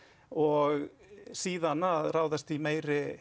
og síðan að ráðast í meiri